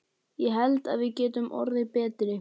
Ég held að við getum orðið betri.